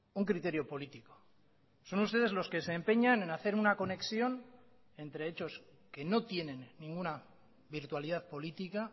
un criterio político son ustedes los que se empeñan en hacer una conexión entre hechos que no tienen ninguna virtualidad política